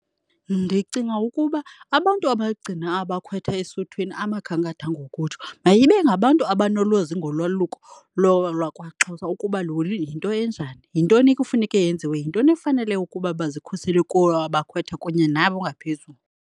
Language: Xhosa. Ndicinga ukuba abantu abagcina abakhwetha esuthwini, amakhankatha ngokutsho, mayibe ngabantu abanolwazi ngolwaluko lwakwaXhosa ukuba yinto enjani. Yintoni ekufuneka yenziwe, yintoni ekufanele ukuba bazikhusele kuyo abakhwetha kunye nabo ngaphezulu.